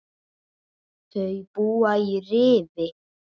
Þau búa í Rifi.